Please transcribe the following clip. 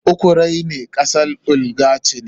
Ukraine kasar oligarchy ce.